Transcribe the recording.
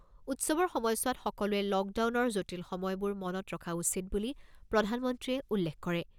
উৎসৱৰ সময়ছোৱাত সকলোৱে লকডাউনৰ জটিল সময়বোৰ মনত ৰখা উচিত বুলি প্ৰধানমন্ত্ৰীয়ে উল্লেখ কৰে।